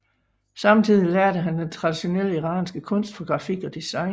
Samtidig lærte han den traditionelle iranske kunst for grafik og design